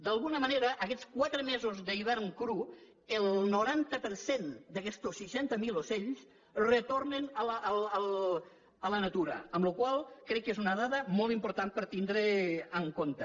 d’alguna manera aquests quatre mesos d’hivern cru el noranta per cent d’aquestos seixanta mil ocells retornen a la natura per la qual cosa crec que és una dada molt important per tenir en compte